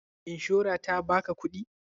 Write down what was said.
Ishora ta ba ka kuɗi?